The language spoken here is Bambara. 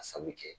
A sabu kɛ